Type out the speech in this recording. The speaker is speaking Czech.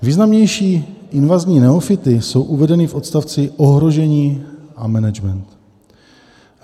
Významnější invazní neofyty jsou uvedeny v odstavci Ohrožení a management.